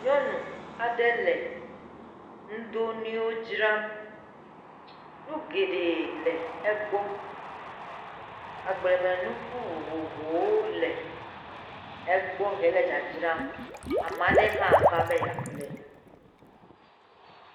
Nyɔnu aɖe le nudonuiwo dzram, nu geɖee le egbɔ, agblemenuku vovovowo le egbɔ hele dzadzram ame aɖe hã va egbɔ be yeaƒle nu.